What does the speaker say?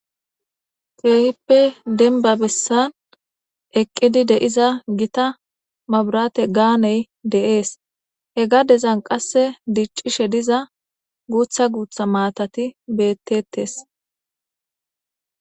Teehippe denba bessan eqqidi deiza gita maburate gaaney deees he gadezan qasse diccishe diza guutha guutha maatati bettettes.